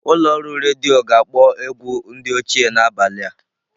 Ụlọ ọrụ redio ga-akpọ ewgu ndi ochie n'abalị a.